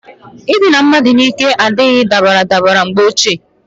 Idina mmadu n'ike adirigi baradabara mgbe ochie.